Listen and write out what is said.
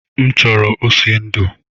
M chọrọ ose ndu